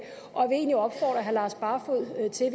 og egentlig opfordre herre lars barfoed til